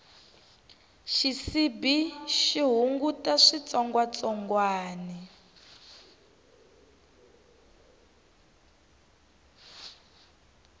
xisibi xi hunguta switsongwatsongwani